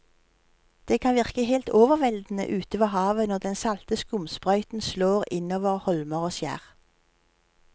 Det kan virke helt overveldende ute ved havet når den salte skumsprøyten slår innover holmer og skjær.